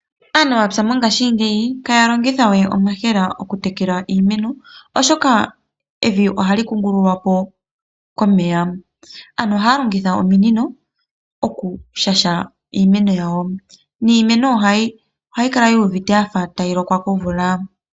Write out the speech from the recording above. Aanamapya mongashingeyi ihaya longitha we omayemele okutekela iimeno, oshoka evi ohali kungululwa po komeya. Ano ohaya longitha ominino okushaha iimeno yawo, niimeno ohayi kala yi uvite yafa tayi lokwa komvula.